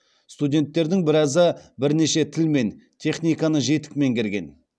студенттердің біразы бірнеше тіл мен техниканы жетік меңгерген